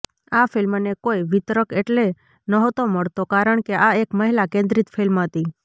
આ ફિલ્મને કોઇ વિતરક એટલે નહોતો મળતો કારણ કે આ એક મહિલા કેન્દ્રિત ફિલ્મ હતી